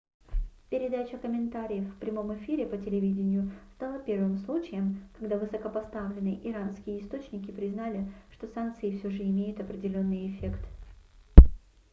передача комментариев в прямом эфире по телевидению стала первым случаем когда высокопоставленные иранские источники признали что санкции всё же имеют определенный эффект